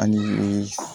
Alihamidu